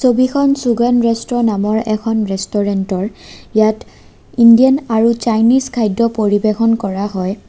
ছবিখন চুগন্ধ ৰেষ্ট্ৰো নামৰ এখন ৰেষ্টুৰেন্ট ৰ ইয়াত ইণ্ডিয়ান আৰু চাইনিজ খাদ্য পৰিৱেশন কৰা হয়।